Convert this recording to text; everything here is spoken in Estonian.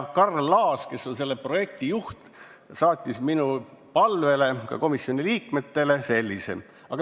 Karl Laas, kes on selle projekti juht, saatis minu palvel ka komisjoni liikmetele kirja.